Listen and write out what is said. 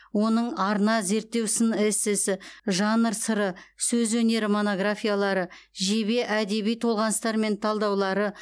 оның арна зерттеу сын эссесі жанр сыры сөз өнері монографиялары жебе әдеби толғаныстар мен талдаулары